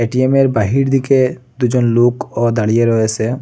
এটিএমের বাহির দিকে দুজন লোকও দাঁড়িয়ে রয়েসে।